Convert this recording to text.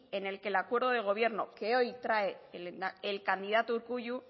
en el que el acuerdo de gobierno que hoy trae el candidato urkullu